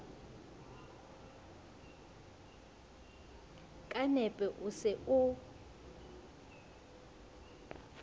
ka nepo o se o